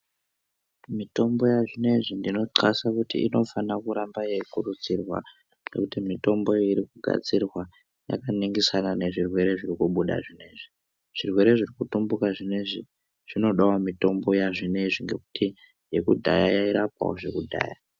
Mitombo yazvinezvi ndinotxasa kuti inofana kuramba yeikurudzirwa ngekuti mitombo iyi irikugadzirwa yakaningirise zvirwere zvirikubuda zvinezvi. Zvirwere zvirikutumbuka ,vinezvi zvinodawo mitombo yazvinenzvi ngekuti yakudhaya yairapawo zvakudhaya.